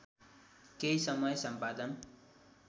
केही समय सम्पादन